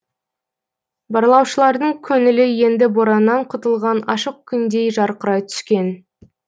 барлаушылардың көңілі енді бораннан құтылған ашық күндей жарқырай түскен